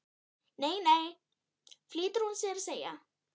Nei, nei flýtir hún sér að segja.